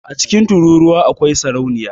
A cikin tururuwa akwai sarauniya